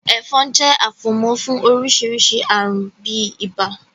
Ẹ̀fọn jẹ́ afomo fún oríṣiríṣi àrùn bíi ibà.